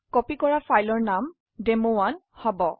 copy কৰা file ৰ নাম ডেমো1 হব